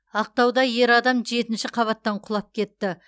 ақтауда ер адам жетінші қабаттан құлап кетті